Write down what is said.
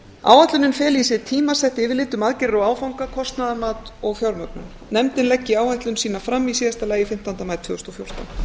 áætlunin feli í sér tímasett yfirlit um aðgerðir og áfanga kostnaðarmat og fjármögnun nefndin leggi áætlun sína fram í síðasta lagi fimmtánda maí tvö þúsund og fjórtán